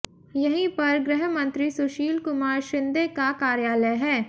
यहीं पर गृह मंत्री सुशील कुमार शिंदे का कार्यालय है